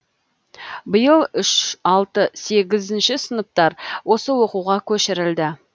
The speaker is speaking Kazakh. биыл үш алты сегізінші сыныптар осы оқуға көшірілді